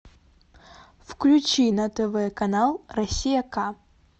включи на тв канал россия к